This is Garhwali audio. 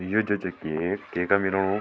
यु ज च की केता मिलणु।